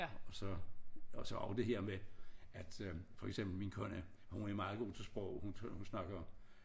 Og så og så og det her med at øh for eksempel min kone hun er meget god til sprog hun snakker